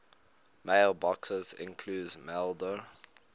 mailboxes include maildir